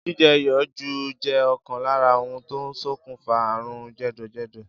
Jíje̩ iyò̩ jù jé̩ ò̩kan lára ohun tó ń sokùnfà àrùn jè̩dò̩jè̩dò̩.